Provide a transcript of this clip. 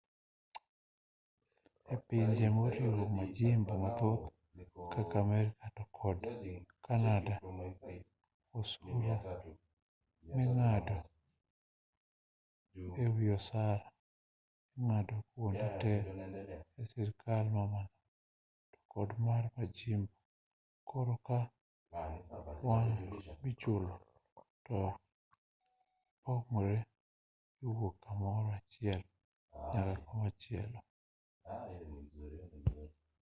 e pinje moriwo majimbo mathoth kaka amerka to kod kanada osuru ming'ado e wi osara ing'ado kuonde te e sirikal mamalo to kod mar majimbo koro kar kwan michulo to nyalo pogore kowuok kamoro achiel nyaka komachielo